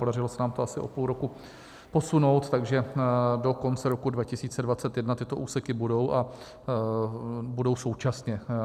Podařilo se nám to asi o půl roku posunout, takže do konce roku 2021 tyto úseky budou, a budou současně.